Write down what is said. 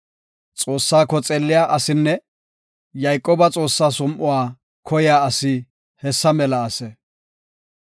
Xoossaako xeelliya asinne Yayqooba Xoossaa som7uwa koyiya asi hessa mela ase. Salaha